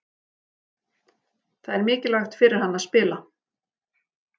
Það er mikilvægt fyrir hann að spila.